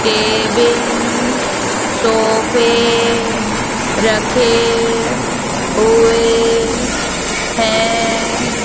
Table सोफे रखे हुए हैं।